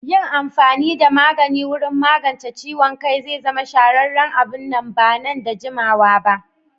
Yin amfani da magani wurin magance ciwon kai zai zama shahararren abu nan ba da jimawa ba.